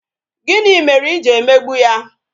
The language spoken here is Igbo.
Gịnị mere I ji emegbu ya?